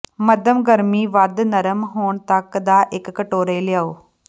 ਮੱਧਮ ਗਰਮੀ ਵੱਧ ਨਰਮ ਹੋਣ ਤੱਕ ਦਾ ਇੱਕ ਕਟੋਰੇ ਲਿਆਓ